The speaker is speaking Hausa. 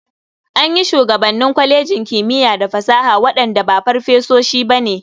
An yi shugabanni kwalejin kimiya da fasaha waɗanda ba farfesoshi ba ne.